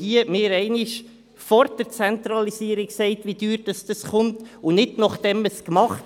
Man sollte uns vor der Zentralisierung sagen, wie teuer diese kommt, und nicht erst nachher.